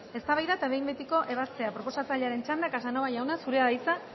eztabaida eta behin betiko ebazpena proposatzailearen txanda casanova jauna zurea da hitza